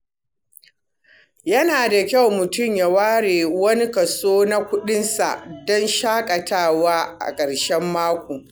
Yana da kyau mutum ya ware wani kaso na kuɗinsa don shaƙatawa a ƙarshen mako.